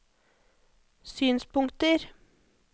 synspunkter